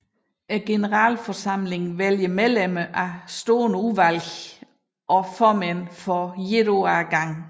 Generalforsamlingen vælger medlemmer af stående udvalg og formænd for et år af gangen